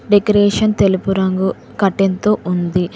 Decoration తెలుపు రంగు curtain తో ఉంది.